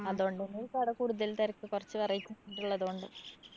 അതോണ്ടന്നെ ആയിരിക്കും അവടെ കൂടുതല്‍ തെരക്ക്. കൊറച്ച് variety food ഉള്ളതുകൊണ്ട്.